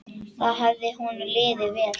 Þar hafði honum liðið vel.